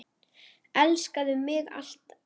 Elskaðu mig alt af.